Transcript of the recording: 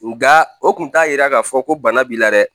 Nga o tun t'a yira k'a fɔ ko bana b'i la dɛ